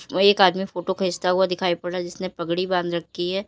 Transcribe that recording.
वो एक आदमी फोटो खींचता हुआ दिखाई पड़ रहा जिसने पगड़ी बांध रखी है।